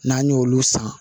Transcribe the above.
N'an y'olu san